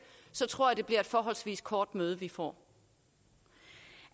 tror jeg at det bliver et forholdsvis kort møde vi får